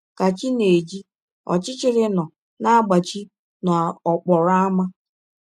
Ka chi na - eji, ọchịchịrị nọ na - agbachi n’ọkpọrọ ámá.